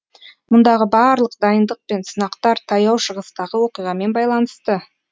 мұндағы барлық дайындық пен сынақтар таяу шығыстағы оқиғамен байланысты